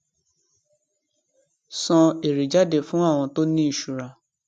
san èrè jáde fún àwọn tó ní ìṣura